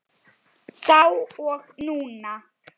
Þá og núna.